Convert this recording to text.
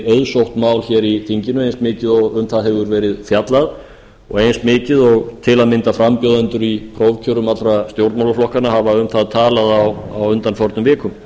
auðsótt mál í þinginu eins mikið og um það hefur verið fjallað og eins mikið og til að mynda frambjóðendur í prófkjörum allra stjórnmálaflokkanna hafa um það talað á undanförnum vikum